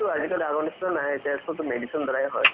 আজিকালি আগৰ নিচিনা নাই এতিয়া চবতো medicine ৰ দ্বাৰাই হয়